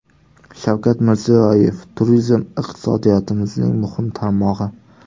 Shavkat Mirziyoyev: Turizm iqtisodiyotimizning muhim tarmog‘i.